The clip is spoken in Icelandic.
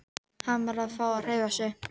Hann varð að fá að hreyfa sig.